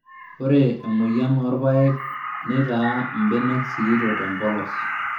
Ore emoyian oorpayek neitaa mbenek sikitok tempolos